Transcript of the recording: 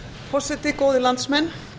forseti góðir landsmenn